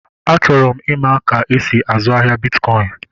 Achọrọ m ịma ka-esi azụ ahịa bitkọin